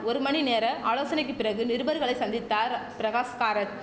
ஒரு மணி நேர ஆலோசனைக்கு பிறகு நிருபர்களை சந்தித்தார் பிரகாஷ் காரத்